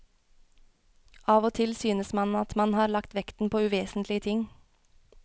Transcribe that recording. Av og til synes man at man har lagt vekten på uvesentlige ting.